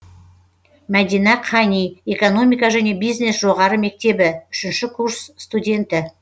мәдина қани экономика және бизнес жоғары мектебі үшінші курс студенті